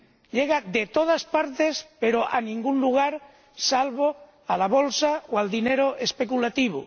Llega de todas partes pero a ningún lugar salvo a la bolsa o al dinero especulativo.